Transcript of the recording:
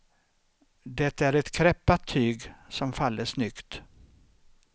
Det är ett kräppat tyg som faller snyggt.